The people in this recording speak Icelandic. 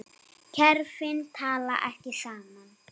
Kerfin tala ekki saman.